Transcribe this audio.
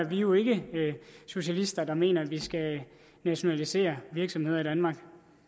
jo ikke socialister der mener at vi skal nationalisere virksomheder i danmark